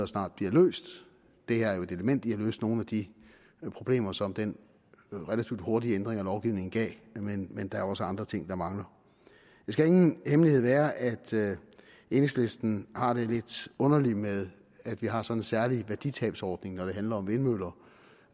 snart bliver løst det her er jo et element i at løse nogle af de problemer som den relativt hurtige ændring af lovgivningen gav men der er også andre ting der mangler det skal ingen hemmelighed være at enhedslisten har det lidt underligt med at vi har sådan en særlig værditabsordning når det handler om vindmøller